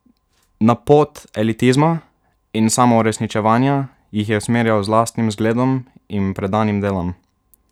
Na pot elitizma in samouresničevanja jih je usmerjal z lastnim zgledom in predanim delom.